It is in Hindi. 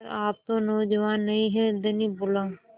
पर आप तो नौजवान नहीं हैं धनी बोला